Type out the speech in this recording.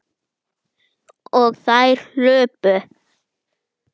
Og þær hlupu.